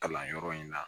Kalanyɔrɔ in na